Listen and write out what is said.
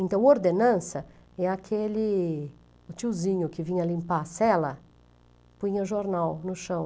Então, ordenança é aquele tiozinho que vinha limpar a cela, punha jornal no chão.